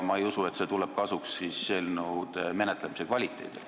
Ma ei usu, et see tuleb kasuks eelnõude menetlemise kvaliteedile.